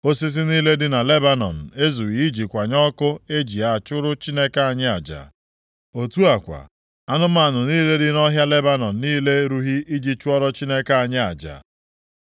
Osisi niile dị na Lebanọn ezughị iji kwanye ọkụ e ji a chụrụ Chineke anyị aja. Otu a kwa, anụmanụ niile dị nʼọhịa Lebanọn niile erughị iji chụọrọ Chineke anyị aja.